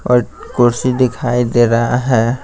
एक कुर्सी दिखाई दे रहा है।